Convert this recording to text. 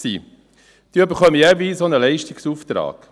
Sie erhalten jeweils auch einen Leistungsauftrag.